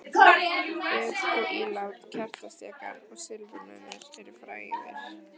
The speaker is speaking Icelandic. Föt og ílát, kertastjakar og silfurmunir eru fægðir.